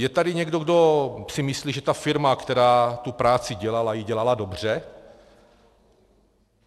Je tady někdo, kdo si myslí, že ta firma, která tu práci dělala, ji dělala dobře?